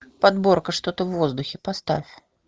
подборка что то в воздухе поставь